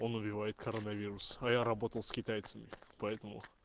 он убивает коронавирус а я работал с китайцами поэтому